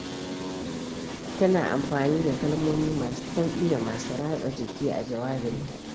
Tana amfani da kalmomi masu sauƙi da masu ratsa jiki a jawabinta.